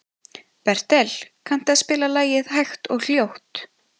Bertel, kanntu að spila lagið „Hægt og hljótt“?